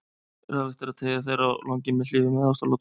Ráðlegt er að teygja þær á langinn með hléum eða ástaratlotum.